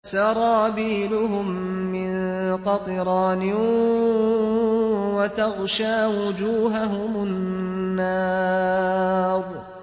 سَرَابِيلُهُم مِّن قَطِرَانٍ وَتَغْشَىٰ وُجُوهَهُمُ النَّارُ